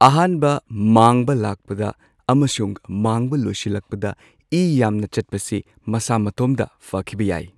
ꯑꯍꯥꯟꯕ ꯃꯥꯡꯕ ꯂꯥꯛꯄꯗ ꯑꯃꯁꯨꯡ ꯃꯥꯡꯕ ꯂꯣꯢꯁꯤꯜꯂꯛꯄꯗ ꯏ ꯌꯥꯝꯅ ꯆꯠꯄꯁꯤ ꯃꯁꯥ ꯃꯇꯣꯝꯗ ꯐꯈꯤꯕ ꯌꯥꯢ꯫